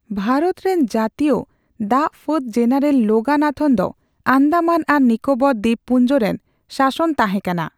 ᱵᱷᱟᱨᱚᱛ ᱨᱮᱱ ᱡᱟᱹᱛᱤᱭᱟ ᱫᱟᱜ ᱯᱷᱟᱹᱫ ᱡᱮᱱᱟᱨᱮᱞ ᱞᱳᱜᱟᱱᱟᱛᱷᱚᱱ ᱫᱚ ᱟᱱᱫᱟᱢᱟᱱ ᱟᱨ ᱱᱤᱠᱳᱵᱚᱨ ᱫᱵᱤᱵᱯᱩᱱᱡᱚ ᱨᱮᱱ ᱥᱟᱥᱚᱱ ᱛᱟᱦᱮ ᱠᱟᱱᱟ ᱾